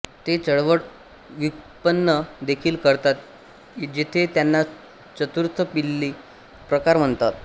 ते चळवळ व्युत्पन्न देखील करतात जेथे त्यांना चतुर्थ पिली प्रकार म्हणतात